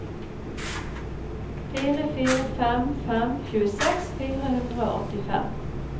fire fire fem fem tjueseks fire hundre og åttifem